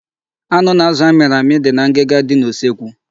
Anụ na azụ a mịrị amị dị na ngịga dị n'usekwu.